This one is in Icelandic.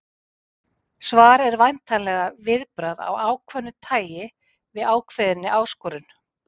Svar er væntanlega viðbragð af ákveðnu tæi við ákveðinni áskorun.